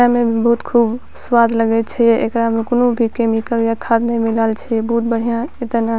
खाय में बहुत खूब स्वाद लगय छै एकरा मे कूनू भी केमिकल या खाद ने मिलाएल छै बहुत बढ़िया एतना --